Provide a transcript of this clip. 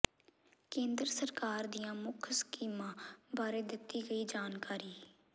ਕੇਂਦਰ ਸਰਕਾਰ ਦੀਆਂ ਮੁੱਖ ਸਕੀਮਾਂ ਬਾਰੇ ਦਿੱਤੀ ਗਈ ਜਾਣਕਾਰੀ